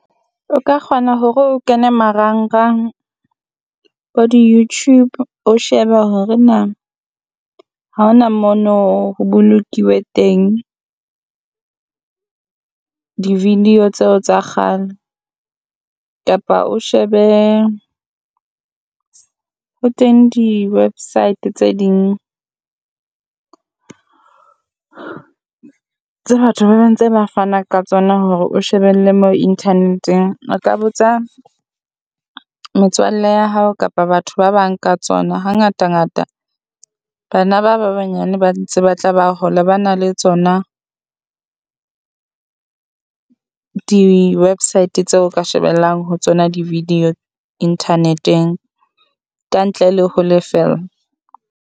O ka kgona hore o kene marangrang bo di Youtube o shebe hore na ha ho na mo no ho bolokilwe teng di video tseo tsa kgale, kapa o shebe hore teng di website tse ding tsa batho ba ba ntse ba fana ka tsona hore o shebelle mo Internet-eng. O ka botsa metswalle ya hao kapa batho ba bang ka tsona hangata ngata, bana ba ba banyane ba di tse ba tla ba hola, ba na le tsona di website tse o ka shebellang ho tsona di video internet-eng ka ntle le ho lefella.